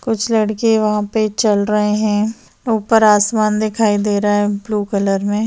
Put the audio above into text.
कुछ लड़के वहां पे चल रहे है ऊपर आसमान दिखाई दे रहा है ब्लू कलर में --